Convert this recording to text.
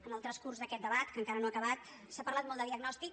en el transcurs d’aquest debat que encara no ha acabat s’ha parlat molt de diagnòstic